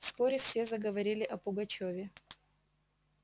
вскоре все заговорили о пугачёве